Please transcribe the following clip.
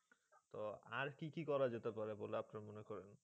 তো আর কী কী করা যেতে পারে বলে আপনার মনে করেন?